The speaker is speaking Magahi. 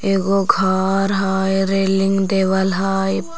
एगो घर हय रेलिंग देवल हय।